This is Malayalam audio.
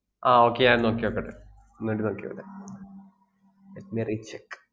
ആഹ് okay ഞാനൊന്ന് നോക്കി നോക്കട്ടെ, ഒന്നൂടി നോക്കി നോക്കട്ടെ let me recheck